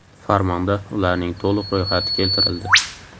Farmonda ularning to‘liq ro‘yxati keltirildi.